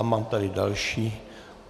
A mám tady další.